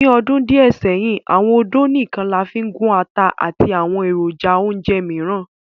Ni ọdun diẹ sẹhin, awọn ódó nikan làfin gun àtà àti awọn erojà-ounjẹ miiran.